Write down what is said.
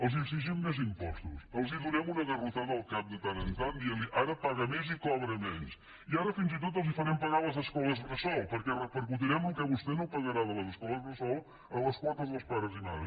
els exigim més impostos els donem una garrotada al cap de tant en tant dient los ara paga més i cobra menys i ara fins i tot els farem pagar les escoles bressol perquè repercutirem el que vostè no pagarà de les escoles bressol a les quotes dels pares i mares